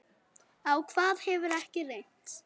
Á hvað hefur ekki reynt?